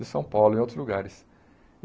De São Paulo e em outros lugares.